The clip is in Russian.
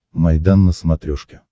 майдан на смотрешке